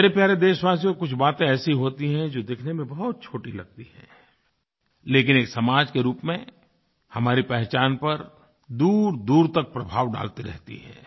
मेरे प्यारे देशवासियो कुछ बातें ऐसी होती हैं जो दिखने में बहुत छोटी लगती हैं लेकिन एक समाज के रूप में हमारी पहचान पर दूरदूर तक प्रभाव डालती रहती हैं